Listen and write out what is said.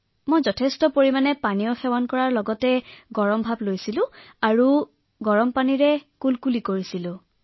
মই অত্যাধিক জুলীয়া খাদ্য খাইছিলো ষ্টীম লৈছিলো গাৰ্গল কৰিছিলো আৰু গৰম পানীৰ সেক লৈছিলো